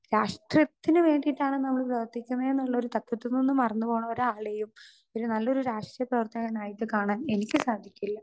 Speaker 2 രാഷ്ട്രീയത്തിന് വേണ്ടിയിട്ടാണ് നമ്മള് പ്രവർത്തിക്കണേ എന്നുള്ള ഒരു തത്വത്തിൽനിന്ന് മറന്നുപോണ ഒരാളേയും ഒരു നല്ലൊരു രാഷ്ട്രീയ പ്രവർത്തകനായിട്ട് കാണാൻ എനിക്ക് സാധിക്കില്ല.